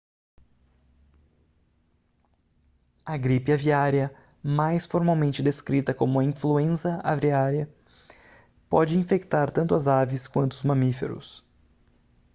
a gripe aviária mais formalmente descrita como a influenza aviária pode infectar tanto as aves quanto os mamíferos